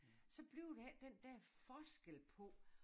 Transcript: Så bliver der ikke den dér forskel på